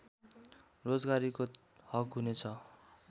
रोजगारीको हक हुने छ